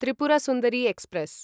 Tripura Sundari express